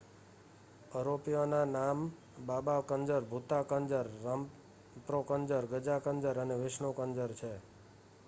અરોપીઓના નામ બાબા કંજર ભુતા કંજર રામ્પ્રો કંજર ગઝા કંજર અને વિષ્ણુ કંજર છે